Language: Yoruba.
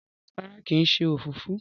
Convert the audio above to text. rárá kín ṣe òfófó?